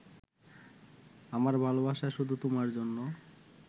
আমার ভালবাসা শুধু তোমার জন্য